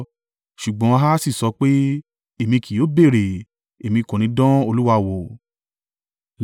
Ṣùgbọ́n Ahasi sọ pé, “Èmi kì yóò béèrè; Èmi kò ní dán Olúwa wò.”